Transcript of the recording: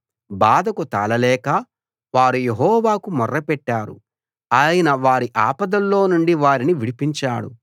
బాధకు తాళలేక వారు యెహోవాకు మొర్రపెట్టారు ఆయన వారి ఆపదల్లో నుండి వారిని విడిపించాడు